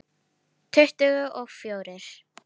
Tuttugu og fjórir.